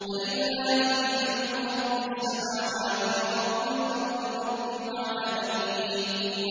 فَلِلَّهِ الْحَمْدُ رَبِّ السَّمَاوَاتِ وَرَبِّ الْأَرْضِ رَبِّ الْعَالَمِينَ